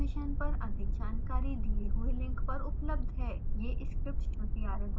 इस मिशन पर अधिक जानकारी दिए हुए लिंक पर उपलब्ध है